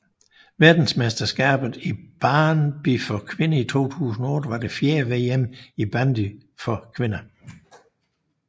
Verdensmesterskabet i bandy for kvinder 2008 var det fjerde VM i bandy for kvinder